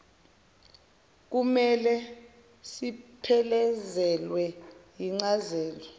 kummele siphelezelwe yincazelo